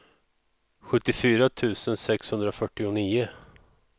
sjuttiofyra tusen sexhundrafyrtionio